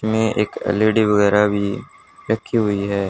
में एक एल_इ_डी वगैरह भी रखी हुई है।